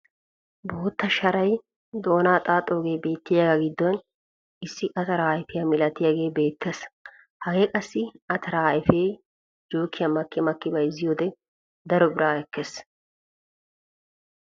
Bootta sharay doonaa xaaxoogee beettiyaagaa giddon issi ataraa ayfiyaa milatiyaagee beettees. Hagee qassi ataraa ayfee jookiyaan makki makki bayzziyoode daro biraa ekkees.